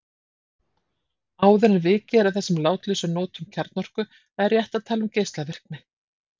Áður en vikið er að þessum látlausari notum kjarnorku er rétt að tala um geislavirkni.